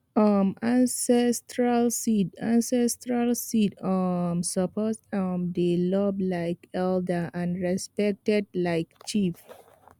um ancestral seed ancestral seed um suppose um dey loved like elder and respected like chief